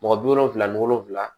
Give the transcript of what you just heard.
Mɔgɔ bi wolonfila ni wolonfila